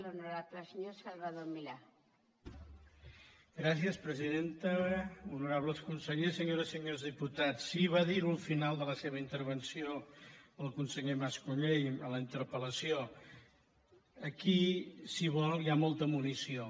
honorables consellers senyores i senyors diputats sí va dir ho al final de la seva intervenció el conseller mas colell en la interpel·lació aquí si ho vol hi ha molta munició